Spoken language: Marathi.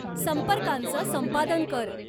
संपर्कांचं संपादन कर.